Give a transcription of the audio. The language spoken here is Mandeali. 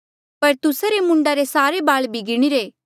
पर तुस्सा रे मूंडा रे सारे बाल भी गिणीरे